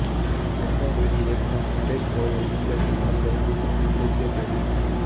jet Airways இயக்குநர் நரேஷ் கோயல் மும்பையில் நடந்த கூட்டத்தில் பேசியபோது